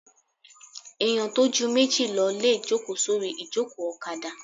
Èèyàn tó ju méjì lọ lè jòkó sórí ìjòkó ọ̀kadà